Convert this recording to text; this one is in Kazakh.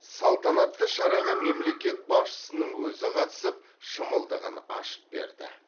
салтанатты шараға мемлекет басшысының өзі қатысып шымылдығын ашып берді